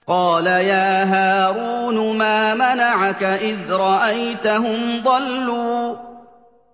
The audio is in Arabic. قَالَ يَا هَارُونُ مَا مَنَعَكَ إِذْ رَأَيْتَهُمْ ضَلُّوا